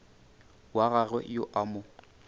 wa gagwe yo a mo